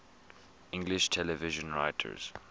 english television writers